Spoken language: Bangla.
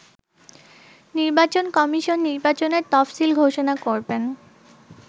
নির্বাচন কমিশন নির্বাচনের তফসিল ঘোষণা করবেন।